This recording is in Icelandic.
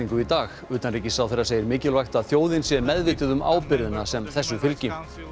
í dag utanríkisráðherra segir mikilvægt að þjóðin sé meðvituð um ábyrgðina sem þessu fylgi